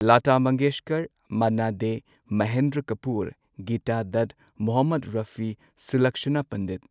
Lata Mangeshkar, Manna Dey, Mahendra Kapoor, Geeta Dutt, Mohammed Rafi, Sulakshana Pandit